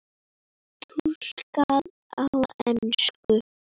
Túlkað á ensku.